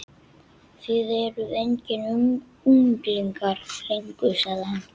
Þið eruð engir unglingar lengur sagði hann.